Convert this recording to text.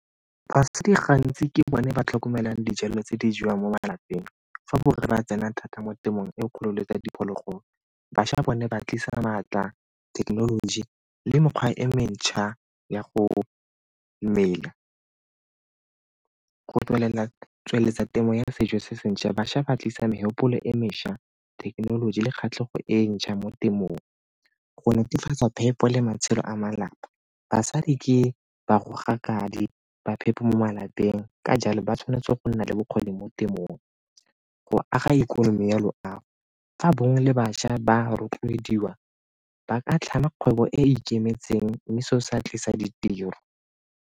Basadi gantsi ke bone ba tlhokomelang dijalo tse di jewang mo malapeng fa borre ba tsena thata mo temothuong e kgolo tsa diphologolo, bašwa bone ba tlisa maatla, thekenoloji le mekgwa e mentšha ya go mmela. Go tsweletsa temo ya sejo se ntšha bašwa ba tlisa megopolo e mešwa, thekenoloji le kgatlhego e ntšha mo temong. Go netefatsa phepo le matshelo a malapa basadi ke ba phepo mo malapeng ka jalo ba tshwanetse go nna le bokgoni mo temothuong. Go aga ikonomi ya loago, fa borre le bašwa ba rotloediwa ba ka tlhama kgwebo e e ikemetseng mme seo se tlisa ditiro.